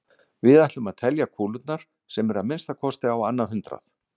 Við ætlum að telja kúlurnar sem eru að minnsta kosti á annað hundrað.